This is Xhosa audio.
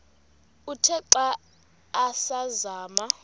uthe xa asazama